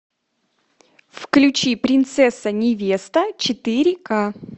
включи принцесса невеста четыре к